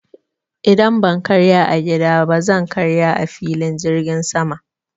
Idan ban karya a gida ba zan karya a filin jirgin sama.